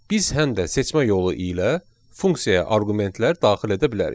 Biz həm də seçmə yolu ilə funksiyaya arqumentlər daxil edə bilərik.